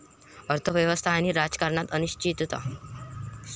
अर्थव्यवस्था आणि राजकारणात अनिश्चितता.